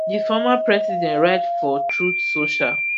di former president write for truth social